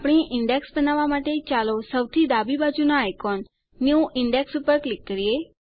આપણી ઈન્ડેક્સ બનાવવાં માટે ચાલો સૌથી ડાબી બાજુનાં આઇકોન ન્યૂ ઇન્ડેક્સ ઉપર ક્લિક કરીએ